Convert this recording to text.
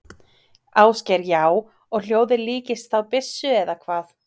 Ásgeir: Já, og hljóðið líkist þá byssu eða hvað?